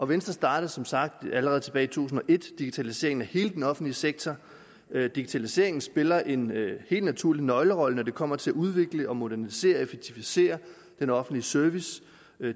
venstre startede som sagt allerede tilbage tusind og et digitaliseringen af hele den offentlige sektor digitaliseringen spiller en helt naturlig nøglerolle når det kommer til at udvikle og modernisere og effektivisere den offentlige service